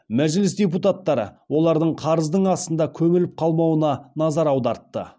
мәжіліс депутаттары олардың қарыздың астында көміліп қалмауына назар аудартты